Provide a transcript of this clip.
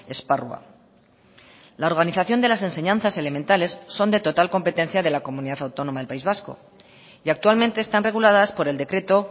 esparrua la organización de las enseñanzas elementales son de total competencia de la comunidad autónoma del país vasco y actualmente están reguladas por el decreto